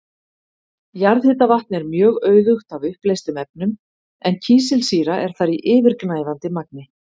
Jarðhitavatn er mjög auðugt af uppleystum efnum en kísilsýra er þar í yfirgnæfandi magni.